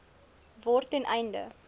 word ten einde